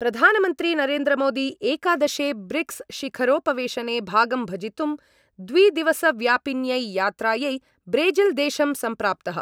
प्रधानमन्त्री नरेन्द्रमोदी एकादशे ब्रिक्स् शिखरोपवेशने भागं भजितुं द्विदिवसव्यापिन्यै यात्रायै ब्रेजिल्देशं सम्प्राप्तः।